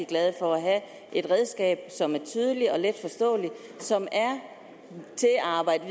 glade for at have et redskab som er tydeligt og letforståeligt som er til at arbejde